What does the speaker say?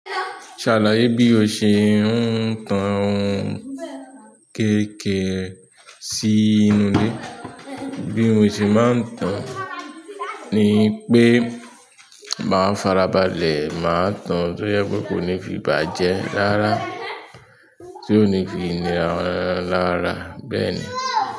Ṣàlàyé bí o ṣe ń tan kéékèè sí inú ile. Bí mo ṣe máa ń tan ni pé màá farabalẹ̀, màá tan tó jẹ pe kó ní fi bàjẹ́ rárà tí ó ní fi nira lára bẹ́ẹ̀ ni.